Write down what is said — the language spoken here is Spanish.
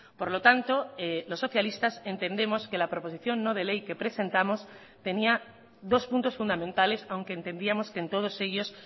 por lo tanto los socialistas entendemos que la proposición no de ley que presentamos tenía dos puntos fundamentales aunque entendíamos que en todos ellos